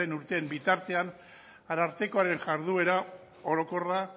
urteen bitartean arartekoaren jarduera orokorra